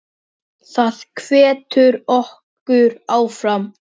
Það hvetur okkur áfram.